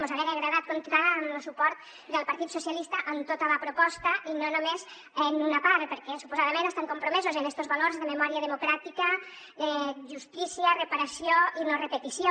mos haguera agradat comptar amb lo suport del partit socialistes en tota la proposta i no només en una part perquè suposadament estan compromesos en estos valors de memòria democràtica justícia reparació i no repetició